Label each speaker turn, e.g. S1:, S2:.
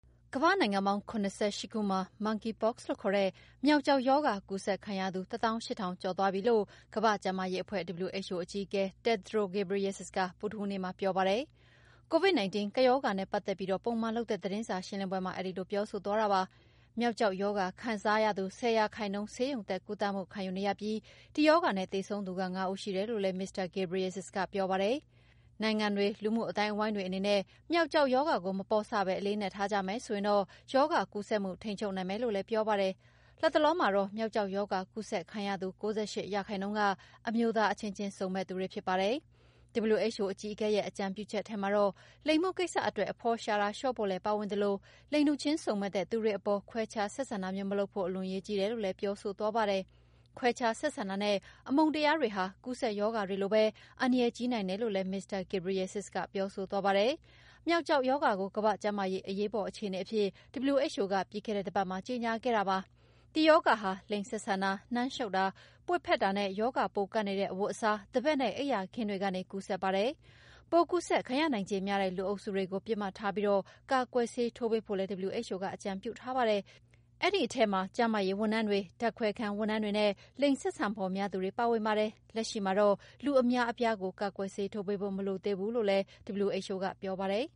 S1: ကမ္ဘာ့နိုင်ငံပေါင်း ၇၈ ခုမှာ Monkeypox လို့ခေါ်တဲ့ မျောက်ကျောက်ရောဂါကူးစက်ခံရသူ ၁ သောင်း ၈ ထောင်ကျော်ရှိသွားပြီလို့ ကမ္ဘာ့ကျန်းမာရေးအဖွဲ့ WHO အကြီးအကဲ Tedros Adhanom Ghebreyesus ကဗုဒ္ဓဟူးနေ့မှာပြောပါတယ်။ Covid-19 ကပ်ရောဂါနဲ့ပတ်သက်ပြီး ပုံမှန်လုပ်တဲ့သတင်းစာရှင်းလင်းပွဲမှာ အဲဒီလိုပြောဆိုသွားတာပါ။ မျောက်ကျောက်ရောဂါကူးခံရသူ ၁၀ ရာခိုင်နှုန်း ဆေးရုံတက်ကုသမှုခံယူနေရပြီး ဒီရောဂါနဲ့သေဆုံးသူ ၅ ဦးရှိတယ်လို့လည်း မစ္စတာ Ghebreyesus ကပြောပါတယ်။ နိုင်ငံတွေ၊ လူမှုအသိုင်းအဝိုင်းတွေအနေနဲ့ ေမျောက်ကျောက်ရောဂါကို မပေါ့ဆပဲ အလေးအနက်ထားကြမယ်ဆိုရင်တော့ ရောဂါကူးစက်မှု ထိန်းချုပ်နိုင်မယ်လို့လည်း ပြောပါတယ်။ လတ်တလောမှာတော့ မျောက်ကျောက်ရောဂါကူးစက်ခံရသူ ၉၈ ရာခိုင်နှုန်းက အမျိုးသားအချင်းချင်းစုံမက်သူတွေဖြစ်ကြပါတယ်။ WHO အကြီးအကဲရဲ့အကြံပြုချက်ထဲမှာတော့ လိင်မှုကိစ္စအတွက် အဖော်ရှာတာတွေလျှော့ဖို့လည်းပါဝင်ပြီး လိင်တူချင်းစုံမက်တဲ့သူတွေအပေါ် ခွဲခြားဆက်ဆံတာမလုပ်ဖို့ အလွန်အရေးကြီးတယ်လို့လည်း ပြောဆိုသွားပါတယ်။ ခွဲခြားဆက်ဆံတာနဲ့ အမုန်းတရားတွေဟာ ကူးစက်ရောဂါတွေလိုပဲ အန္တရာယ်ကြီးနိုင်တယ်လို့လည်း မစ္စတာ Ghebreyesus ကပြောဆိုသွားတာပါ။ မျောက်ကျောက်ရောဂါကို ကမ္ဘာ့ ကျန်းမာရေးအရေးပေါ်အခြေအနေအဖြစ် WHO ကပြီးခဲ့တဲ့တပတ်မှာ ကြေညာခဲ့တာပါ။ ဒီရောဂါဟာ လိင်ဆက်ဆံတာ၊ နမ်းရှုတ်တာ၊ ပွေ့ဖက်တာနဲ့ ရောဂါပိုးကပ်နေတဲ့ အဝတ်အစား၊ သဘက်နဲ့ အိပ်ယာအိပ်ခင်းတွေကနေ ကူးစက်ပါတယ်။ ပိုးကူးစက်ခံရနိုင်ခြေများတဲ့ လူအုပ်စုတွေကို ပစ်မှတ်ထားပြီး ကာကွယ်ဆေးထိုးပေးဖို့လည်း WHO ကအကြံပြုထားပါတယ်။ အဲဒီထဲမှာ ကျန်းမာရေးဝန်ထမ်းတွေ၊ ဓာတ်ခွဲခန်းဝန်ထမ်းတွေနဲ့ လိင်ဆက်ဆံဖော် များသူတွေပါဝင်ပါတယ်။ လက်ရှိမှာတော့ လူအများအပြားကို ကာကွယ်ဆေးထိုးပေးဖို့ မလိုသေးဘူးလို့လည်း WHO ပြောပါတယ်